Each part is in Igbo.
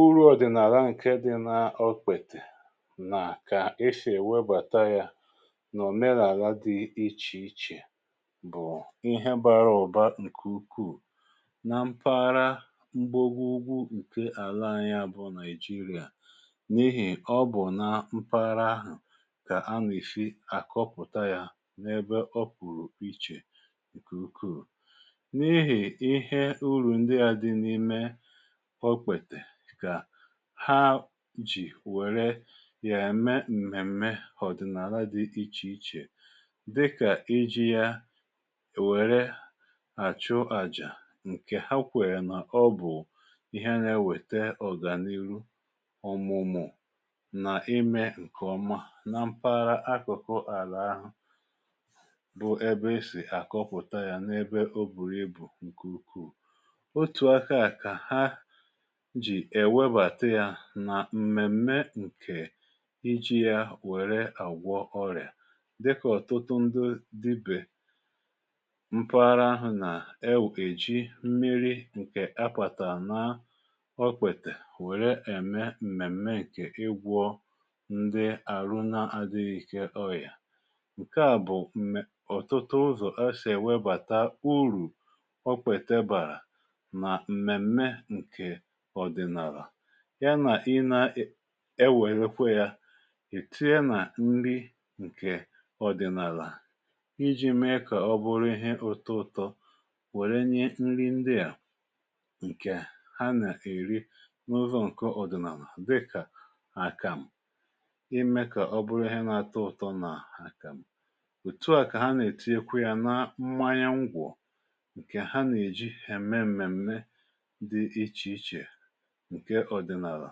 Uru ọ̀dị̀nààla ǹke dị n’okpètè nà kà èsi ewebàta ya na òmenààla dị ichè ichè bụ̀ ihe bara ụ̀ba ǹkè ukwuù nà mpaghara mgbago ugwu ǹke àlà anyị à bụ nàịjirịa n’ihì ọ bụ̀ nà mpaghara ahụ̀ kà ana esi àkọpụ̀ta ya n’ebe ọ pụ̀rụ̀ ichè ǹkè ukwuù. N’ihì ihe uru ndị à dị n’ime okpètè kà ha ji̇ wère yà-ème m̀mèm̀me ọ̀dị̀nàlà dị̀ ichè ichè dịkà iji̇ ya wère àchụ àjà ǹkè ha kwèrè n’ọbụ̀ ihe nà-ewètè ọ̀gànihu, ọ̀mụ̀mụ̀, nà imė ǹkè ọma nà m̀paghara akụ̀kụ àlà ahụ bụ̀ ebe esì àkọpụ̀ta yȧ n’ebe o bùrù ibù ǹkè ukwuù. Otù akaà kà ha jì èwebàta yȧ nà m̀mèm̀me ǹkè iji̇ yȧ wère àgwọ ọrị̀à dịkà ọ̀tụtụ ndị diba mpaghara ahụ̀ nà-ewù èji mmiri̇ ǹkè apàtàra na okpètè wère ème m̀mèm̀me ǹkè igwọ ndị àrụ na-adịghị̇ ike ọyà. Nkè a bụ̀ mè ọ̀tụtụ ụzọ̀ esì èwebàta urù okpète bàrà na mmemmé nke ọdịnaala ya nà i na e nwèrèkwa ya ì tii na nri ǹkè ọ̀dị̀nààlà iji̇ me kà ọ bụrụ ihe ụtọ ụtọ wère nye nri ndi ȧ ǹkè anà-èri n’ụzọ̇ ǹkọ ọ̀dị̀nààlà dịkà àkàm, ịmė kà ọ bụrụ ihe na-atọ ụ̀tọ nà àkàm. Otu a kà ha nà-ètinyekwa ya na mmanya ngwọ̀ ǹkè ha nà-èji ème m̀mèmme dị ichè ichè ǹke ọdịnaalà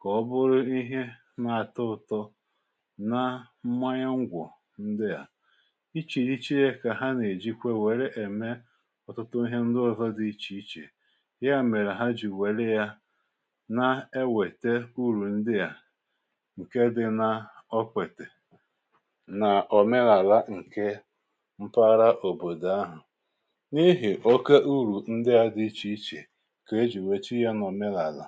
kà ọ bụrụ ihe na-atọ ụtọ na mmanya ṅgwọ̀ ndị à. Ịchirichie ya kà ha nà-èjikwe wère ème ọtụtụ ihe ndị ọzọ dị ichè ichè, ya mèrè ha jì wère yȧ na ewète urù ndị à ǹke dị n’okpètè nà ọ̀menàla ǹke mpaghara òbòdò ahụ̀ n’ihì oke urù ndị à dị ichè ichè kà èji wèrè tinyé ya na òmenààla.